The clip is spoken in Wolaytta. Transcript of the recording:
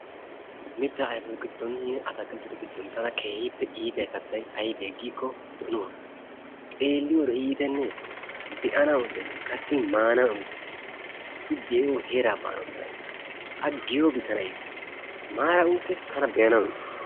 Mittaa ayfetu giddoninne atakilttetu giddon tana keehippe iitiya kattay aybee giikko donuwaa. xeeliyode iitenee! Be'anawu iittees, kattin maanawu iittees. I de'iyo heeraa baanawu tana iittees. A giyoobi tana iittees. Maaran uttiis tana be'anawu iittees.